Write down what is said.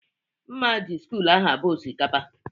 Mma ji sịkul ahụ abo osikapa